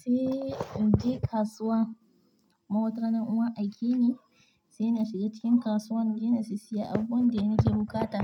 sai in je kasuwa. Ma watarana ni an aiki ne, sai na shiga cikin kasuwa nia je na siyi abubuwan da nake buƙata.